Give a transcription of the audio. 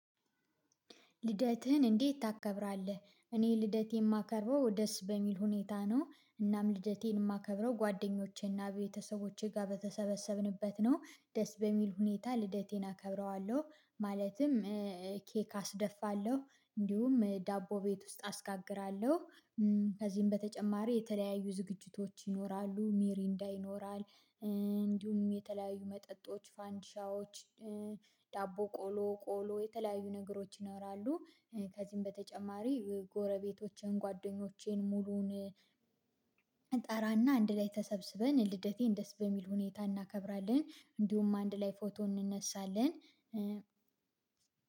ልደትህን እንዴት ታከብራለህ? እኔ ልደቴን የማከርበው ደስ በሚል ሁኔታ ነው እናም ልደቴን የማከብረው ጓደኞቼና ቤተሰቦቼ ጋር በተሰበሰብንበት ነው ደስ በሚል ሁኔታ ልደቴን አከብረዋለሁ። ማለትም ኬክ አስደፋለሁ እንዲሁም ዳቦ ቤት ውስጥ አስጋግራለሁ። ከዚህም በተጨማሪ የተለያዩ ዝግጅቶች ይኖራሉ ሚሪንዳ ይኖራል እንዲሁም የተለያዩ መጠጦች ፋንዲሻዎች ዳቦ ቆሎ ቆሎ የተለያዩ ነገሮች ይኖራሉ። ከዚህም በተጨማሪ ጎረቤቶቼን ጓደኞቼን ሙሉውን ጠራና አንድ ላይ ተሰብስበን ልደቴን ደስ በሚል ሁኔታ እናከብራለን። እንዲሁም አንድ ላይ ፎቶ እንነሳለን።